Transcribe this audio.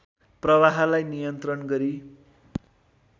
प्रवाहलाई नियन्त्रण गरी